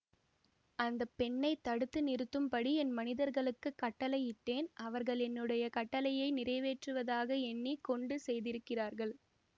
அந்த பெண்ணை தடுத்து நிறுத்தும்படி என் மனிதர்களுக்குக் கட்டளையிட்டேன் அவர்கள் என்னுடைய கட்டளையை நிறைவேற்றுவதாக எண்ணி கொண்டு செய்திருக்கிறார்கள்